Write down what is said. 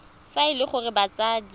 fa e le gore batsadi